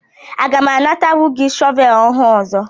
Aga m anatanwu gị shọvel ọhụụ ọzọ?